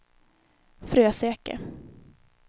Fröseke